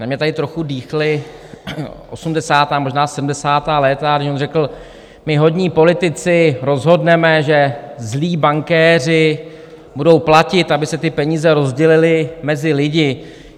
Na mě tady trochu dýchla osmdesátá, možná sedmdesátá léta, když on řekl: my hodní politici rozhodneme, že zlí bankéři budou platit, aby se ty peníze rozdělily mezi lidi.